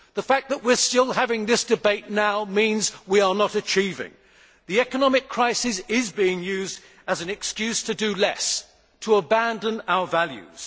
The fact that we are still having this debate now means that we are not achieving. The economic crisis is being used as an excuse to do less and to abandon our values.